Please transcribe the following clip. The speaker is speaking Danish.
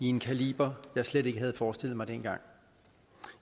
en kaliber jeg slet ikke havde forestillet mig dengang